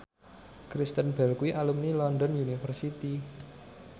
Kristen Bell kuwi alumni London University